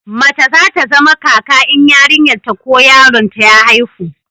mace za ta zama kaka in yarinyar ta ko yaron ta ya haihu